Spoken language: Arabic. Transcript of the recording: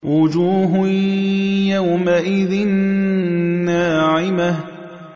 وُجُوهٌ يَوْمَئِذٍ نَّاعِمَةٌ